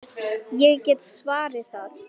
Ég get svarið það!